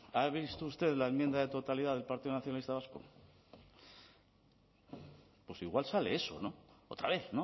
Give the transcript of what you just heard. ha visto usted la enmienda de totalidad del partido nacionalista vasco pues igual sale eso otra vez